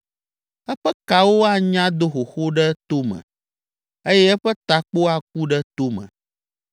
Eƒe kewo anya do xoxo ɖe tome eye eƒe takpo aku ɖe tome,